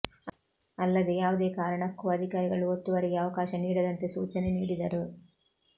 ಅಲ್ಲದೆ ಯಾವುದೇ ಕಾರಣಕ್ಕೂ ಅಧಿಕಾರಿಗಳು ಒತ್ತುವರಿಗೆ ಅವಕಾಶ ನೀಡದಂತೆ ಸೂಚನೆ ನೀಡಿದರು